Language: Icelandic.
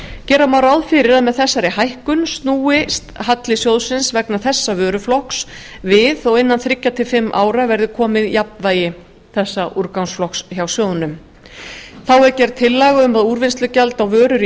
gera má ráð fyrir að með þessari hækkun snúist halli sjóðsins vegna þessa vöruflokks við og innan þriggja til fimm ára verði komið jafnvægi þessa úrgangsflokks hjá sjóðnum þá er gerð tillaga um að úrvinnslugjald á vörur í